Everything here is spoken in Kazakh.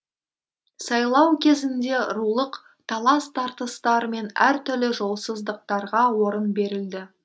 сайлау кезінде рулық талас тартыстар мен әртүрлі жолсыздықтарға орын берілді